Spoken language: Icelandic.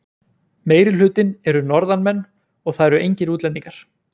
Meirihlutinn eru Norðanmenn og það eru engir útlendingar.